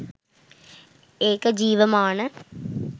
ඒක ජීවමාන